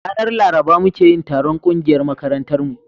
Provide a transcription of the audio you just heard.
ranar laruba muke yin taron ƙungiyar makarantar mu